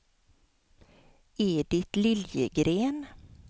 Edit Liljegren